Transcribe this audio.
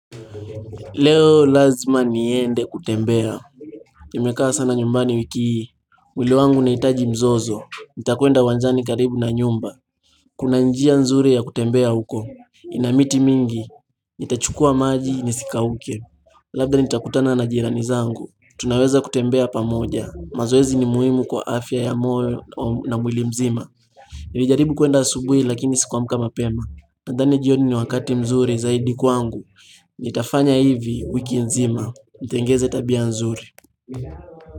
Leo lazima niende kutembea Nimekaa sana nyumbani wiki hii, mwili wangu unahitaji mzozo, nitakwenda uwanjani karibu na nyumba Kuna njia nzuri ya kutembea huko, ina miti mingi Nita chukua maji nisikauke Labda nitakutana na jirani zangu, tunaweza kutembea pamoja, mazoezi ni muhimu kwa afya ya moyo na mwili mzima Nimejaribu kuenda subuhi lakini sikuamka mapema, nadhani jioni ni wakati mzuri zaidi kwangu Nitafanya hivi wiki nzima, nitengeze tabia nzuri.